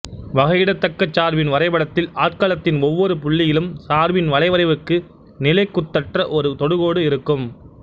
வகையிடத்தக்கச் சார்பின் வரைபடத்தில் ஆட்களத்தின் ஒவ்வொரு புள்ளியிலும் சார்பின் வளைவரைக்கு நிலைக்குத்தற்ற ஒரு தொடுகோடு இருக்கும்